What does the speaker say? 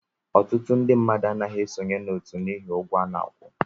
Ọtụtụ ndị mmadụ anaghị esonye n'otu n'ihi ụgwọ a na-akwụ